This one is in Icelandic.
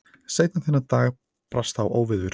Seinna þennan dag brast á óveður.